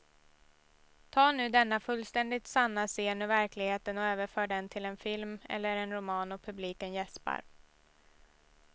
Ta nu denna fullständigt sanna scen ur verkligheten och överför den till en film eller en roman och publiken jäspar.